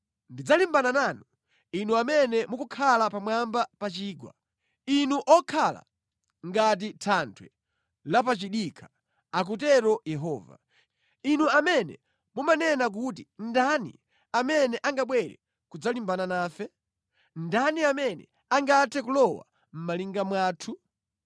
Ndidzalimbana nanu, inu amene mukukhala pamwamba pa chigwa, inu okhala ngati thanthwe lapachidikha, akutero Yehova. Inu amene mumanena kuti, ‘Ndani amene angabwere kudzalimbana nafe? Ndani amene angathe kulowa mʼmalinga mwathu?’